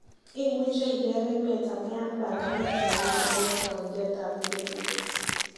Imuche iker emet ameyan panganet nemiten kiwanjet ab idegeit.